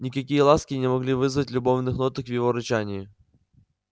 никакие ласки не могли вызвать любовных ноток в его рычании